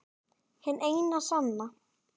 Hin eina sanna